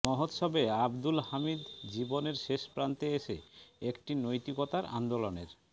মহোৎসবে আবদুল হামিদ জীবনের শেষ প্রান্তে এসে একটি নৈতিকতার আন্দোলনের